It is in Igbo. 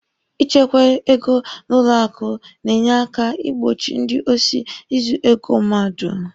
I chekwa ego n'ụlọ akụ na-enye aka ị gbochi ndị osi izu ego mmadụ.